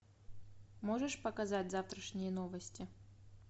можешь показать завтрашние новости